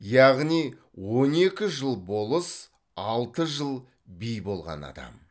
яғни он екі жыл болыс алты жыл би болған адам